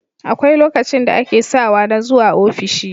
Akwai lokacin da ake sawa na zuwa ofishi